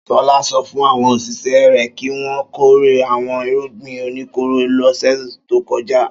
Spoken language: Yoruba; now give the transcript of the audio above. Ṣọlá sọ fún àwọn òṣìṣẹ́ rẹ̀ kí wọ́n kórè àwọn irúgbìn oníkóró lọ́sẹ̀ tó kọjá.